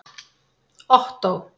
Ottó